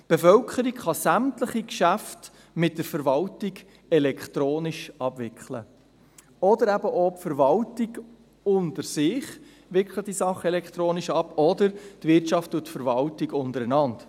Die Bevölkerung kann sämtliche Geschäfte mit der Verwaltung elektronisch abwickeln, oder auch die Verwaltung wickelt die Sachen unter sich elektronisch ab oder die Wirtschaft und die Verwaltung untereinander.